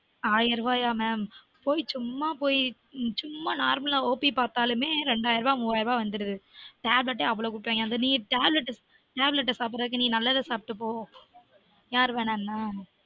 ஆயிரம் ரூபாயா mam போய் சும்மா போய் சும்மா normal அ op பார்த்தாலுமே ரெண்டாயிரம் ரூபா மூவாயிரம் ரூபா வந்துடுது tablet அவ்வளவு குடுக்குறாய்ங்க நீ tablettablet அ சாப்பிட்றதுக்கு நல்லத சாப்டு போ